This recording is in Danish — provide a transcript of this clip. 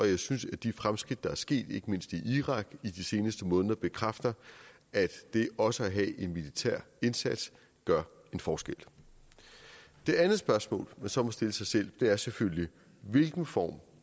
jeg synes at de fremskridt der er sket ikke mindst i irak i de seneste måneder bekræfter at det også at have en militær indsats gør en forskel det andet spørgsmål som man må stille sig selv er selvfølgelig hvilken form